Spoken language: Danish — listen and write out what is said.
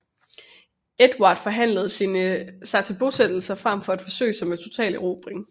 Edvard forhandlede sig til bosættelser frem for at forsøge sig med en total erobring